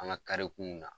An ka karikunw na